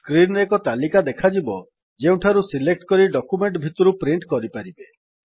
screen ରେ ଏକ ତାଲିକା ଦେଖାଯିବ ଯେଉଁଠାରୁ ସିଲେକ୍ଟ କରି ଡକ୍ୟୁମେଣ୍ଟ୍ ଭିତରୁ ପ୍ରିଣ୍ଟ୍ କରିପାରିବେ